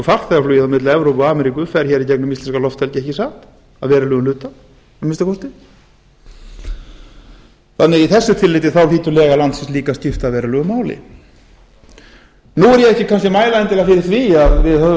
farþegaflug á milli evrópu og ameríku fer hér gegnum íslenska lofthelgi ekki satt að verulegum hluta að minnsta kosti þannig í þessu tilliti hlýtur lega landsins líka að skipta verulegu máli nú er ég ekki kannski að mæla endilega fyrir því að við höfum